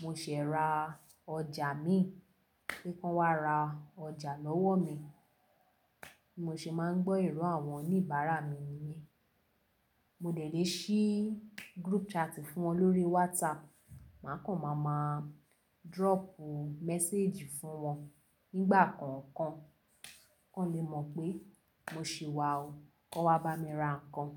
mo ṣẹ̀ ra ọjà mi, pé kan wá ra ọjà lọ́wọ́ mi. Bimo se máa ń gbọ́ irọ àwọn oníbàárà mi nìyen. Mo dẹ̀ lé ṣí group chat fún wọn lórí WhatsApp. Má kàn má má dropu message fún wọn nígbà kọ̀ọ̀kan, kan lè mọ̀ pé mo ṣì wà o, kọ́ wa bá mi ra nǹkan.